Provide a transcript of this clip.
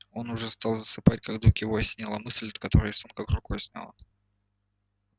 он уже стал засыпать как вдруг его осенила мысль от которой сон как рукой сняло